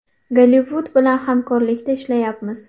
Gollivud bilan hamkorlikda ishlayapmiz.